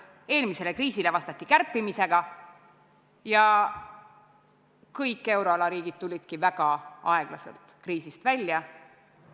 Eelmisele kriisile vastati kärpimisega ja kõik euroala riigid tulid väga aeglaselt kriisist välja.